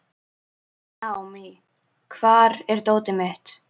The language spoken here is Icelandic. Naomí, hvar er dótið mitt?